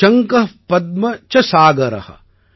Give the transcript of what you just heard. விருந்தம் கர்வோ நிகர்வ ச சங்க பத்ம ச சாகர